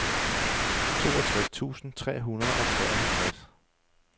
toogtres tusind tre hundrede og treoghalvtreds